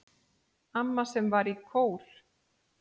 Amma sem var í kór.